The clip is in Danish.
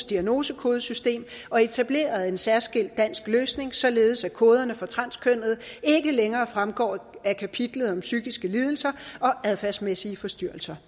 diagnosekodesystem og etableret en særskilt dansk løsning således at koderne for transkønnede ikke længere fremgår af kapitlet om psykiske lidelser og adfærdsmæssige forstyrrelser